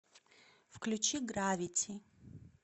включи гравити